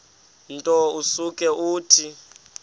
nto usuke uthi